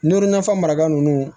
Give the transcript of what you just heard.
N'o nafan maraga nunnu